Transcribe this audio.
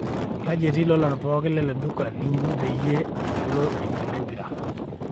kaji etii lolan pooki lele duka linchi peyie agelu enkila empira